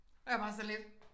Jeg var bare sådan lidt